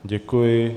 Děkuji.